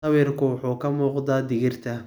Sawirku wuxuu ka muuqdaa digirta.